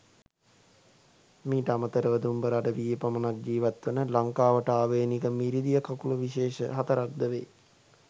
මීට අමතර ව දුම්බර අඩවියේ පමණක් ජීවත් වන ලංකාවට ආවේණික මිරිදිය කකුළු විශේෂ හතරක් ද වේ.